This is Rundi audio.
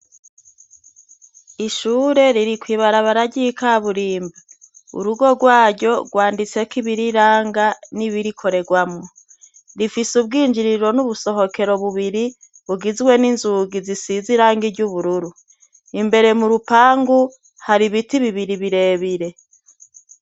Ishure riri kwibarabara ry'ikaburimbi, urugo rwaryo rwanditseko ibiriranga n'ibirikorerwamo, rifise ubwinjiriro n'ubusohokero bubiri bugizwe n'inzugi zisize irangi ry'ubururu, imbere mu rupangu hari ibiti bibiri birebire.